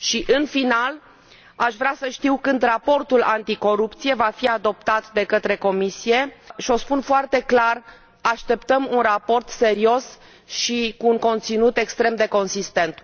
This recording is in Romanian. În final, aș vrea să știu când raportul anticorupție va fi adoptat de către Comisie și o spun foarte clar așteptăm un raport serios și cu un conținut extrem de consistent.